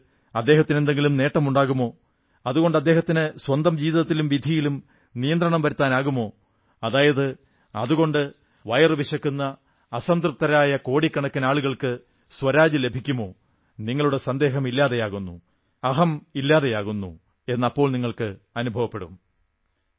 അതുകൊണ്ട് അദ്ദേഹത്തിന് എന്തെങ്കിലും നേട്ടമുണ്ടാകുമോ അതുകൊണ്ട് അദ്ദേഹത്തിന് സ്വന്തം ജീവിതത്തിലും വിധിയിലും നിയന്ത്രണം വരുത്താനാകുമോ അതായത് അതുകൊണ്ട് വയറുവിശക്കുന്ന അസംതൃപ്തരായ കോടിക്കണക്കിന് ആളുകൾക്ക് സ്വരാജ് ലഭിക്കുമോ നിങ്ങളുടെ സന്ദേഹം ഇല്ലാതെയാകുന്നു അഹം ഇല്ലാതെയാകുന്നു എന്ന് അപ്പോൾ നിങ്ങൾക്ക് അനുഭവപ്പെടും